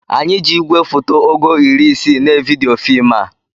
Anyị ji igwefoto ogo iri isii na evidiyo fim a